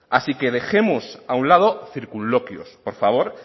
así que dejemos a un lado circunloquios por favor